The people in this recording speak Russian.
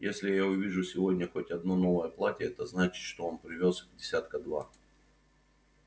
если я увижу сегодня хоть одно новое платье это значит что он привёз их десятка два